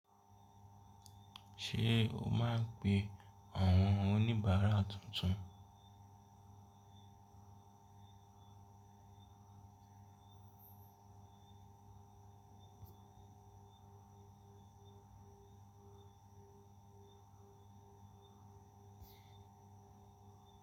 Ṣé o máa ń pe àwọn oníbàárà tuntun?